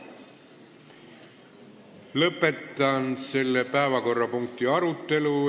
Lõpetan selle päevakorrapunkti arutelu.